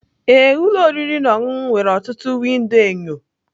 ee, ụlọ oriri na ọṅụṅụ nwere ọtụtụ windo enyo